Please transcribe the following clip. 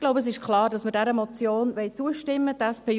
Ich glaube, es ist klar, dass wir dieser Motion zustimmen wollen.